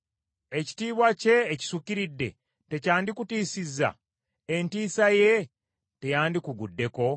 Ekitiibwa kye ekisukiridde tekyandikutiisizza? Entiisa ye teyandikuguddeko?